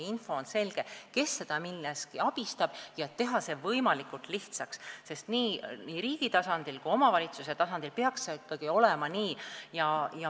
Peab olema selge, kes teda milleski abistab, ja selle info saamine tuleb teha võimalikult lihtsaks, see peaks nii olema nii riigi kui ka omavalitsuse tasandil.